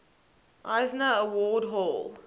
eisner award hall